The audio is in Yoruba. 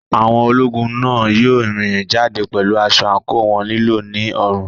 Àwọn ológun náà yóò rìn jáde pẹ̀lú aṣọ àǹkóò wọn lílọ̀ ní ọrùn.